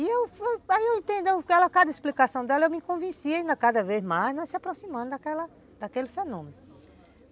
Aí eu entendendo cada explicação dela, eu me convenci ainda cada vez mais, nós se aproximando daquela daquele fenômeno.